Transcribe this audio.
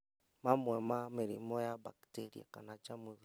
Mamwe ma mĩrimũ ya bakteria kana njamuthi